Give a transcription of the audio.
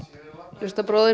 hlustar bróðir